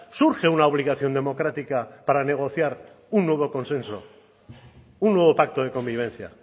surge una obligación democrática para negociar un nuevo consenso un nuevo pacto de convivencia